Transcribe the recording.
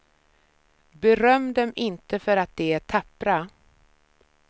Beröm dem inte för att de är tappra.